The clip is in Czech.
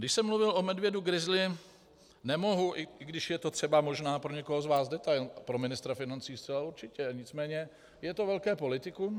Když jsem mluvil o medvědu grizzlym, nemohu, i když je to třeba možná pro někoho z vás detail - pro ministra financí zcela určitě - nicméně je to velké politikum.